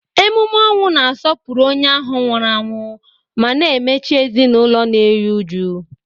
Emume ọnwụ na-asọpụrụ onye ahụ nwụrụ anwụ ma na-emechi ezinụlọ na-eru uju.